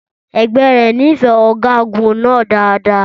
Ẹgbẹ́ rẹ̀ nífẹ̀ẹ́ ọ̀gágun náà dáadáa.